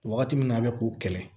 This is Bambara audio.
Wagati min na a bɛ k'u kɛlɛ